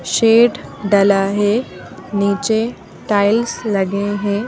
Shade डला है नीचे टाइल्स लगे हैं।